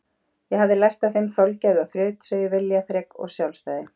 Ég hafði lært af þeim þolgæði og þrautseigju, viljaþrek og sjálfstæði.